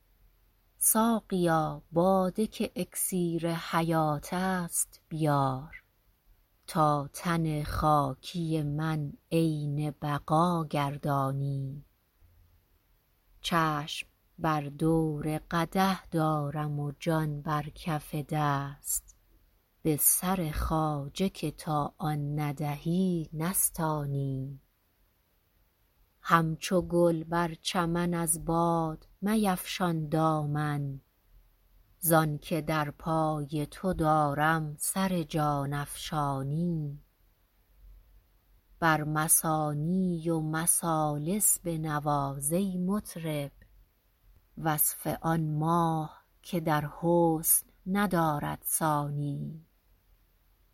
ساقیا باده که اکسیر حیات است بیار تا تن خاکی من عین بقا گردانی چشم بر دور قدح دارم و جان بر کف دست به سر خواجه که تا آن ندهی نستانی همچو گل بر چمن از باد میفشان دامن زانکه در پای تو دارم سر جان افشانی بر مثانی و مثالث بنواز ای مطرب وصف آن ماه که در حسن ندارد ثانی